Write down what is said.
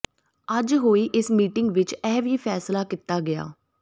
ਅੱਜ ਹੋਈ ਇਸ ਮੀਟਿੰਗ ਵਿੱਚ ਇਹ ਵੀ ਫੈਸਲਾ ਕੀਤਾ ਗਿਆ